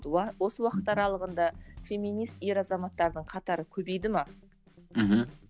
осы уақыт аралығында феминист ер азаматтардың қатары көбейді ме мхм